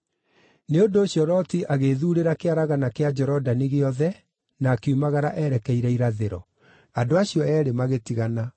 Nĩ ũndũ ũcio Loti agĩĩthuurĩra kĩaragana kĩa Jorodani gĩothe na akiumagara erekeire irathĩro. Andũ acio eerĩ magĩtigana: